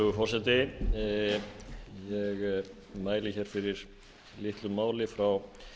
virðulegur forseti ég mæli hér fyrir litlu máli frá